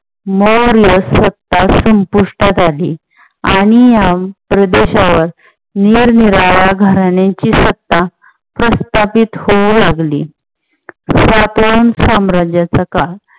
मौर्य सत्ता संपुष्टात आली आणि या प्रदेशावर निरनिराळ्या घराण्याची सत्ता प्रस्थापित होऊ लागली. सातवहन साम्राज्याचा काळ